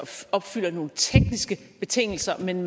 opfylder nogle tekniske betingelser men